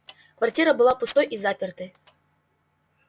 квартира была пустой и запертой